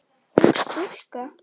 Ung stúlka.